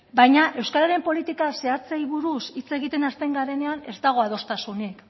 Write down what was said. baina euskararen politika zehatzei buruz hitz egiten hasten garenean ez dago adostasunik